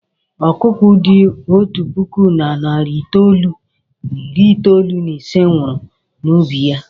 Ọkụkọ dị otu puku na narị itoolu na iri itoolu na ise nwụrụ n'ubi ya.